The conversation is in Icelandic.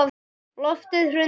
Loftið hrundi.